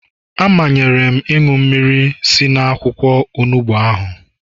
A manyere m ịṅụ mmiri si n'akwụkwọ onugbu ahụ